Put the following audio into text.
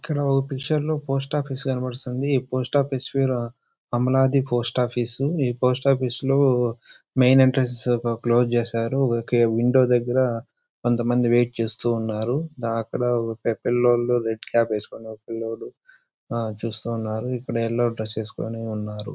ఇక్కడ ఓ పిక్చర్ లో పోస్ట్ ఆఫీస్ కనిపిస్తుంది. ఈ పోస్ట్ ఆఫీస్ కొమ్మలాడి పోస్ట్ ఆఫీస్ . ఈ పోస్ట్ ఆఫీస్ లో మెయిన్ ఎంట్రెన్స్ క్లోజ్ చేశారు. విండో దగ్గర కొంతమంది వెయిట్ చేస్తూ ఉన్నారు. అక్కడ ఒక పిల్లల్లో రెడ్ క్యాప్ వేసుకుని పిల్లల్లో చూస్తూ ఉన్నారు. ఎక్కడ ఎల్లో డ్రెస్ వేసుకొని ఉన్నారు.